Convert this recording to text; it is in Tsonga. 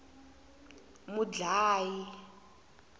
mudlayi